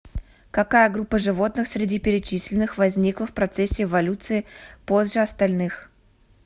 какая группа животных среди перечисленных возникла в процессе эволюции позже остальных